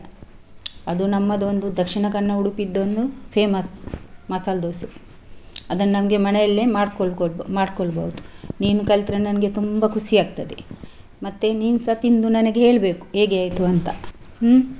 ಅದು ನಮ್ಮದೊಂದು Dakshina Kannada, Udupi ದೊಂದು famous ಮಸಾಲಾ ದೋಸಾ ಅದನ್ನ್ ನಮ್ಗೆ ಮನೆಯಲ್ಲೇ ಮಾಡ್ಕೊಳ್ಬೋದು ನೀನು ಕಲ್ತ್ರೆ ನನ್ಗೆ ತುಂಬಾ ಖುಷಿ ಆಗ್ತದೆ ಮತ್ತೆ ನೀನ್ಸ ತಿಂದು ನನಗೆ ಹೇಳ್ಬೇಕು ಹೇಗೆ ಆಯ್ತು ಅಂತ ಹ್ಮ್‌.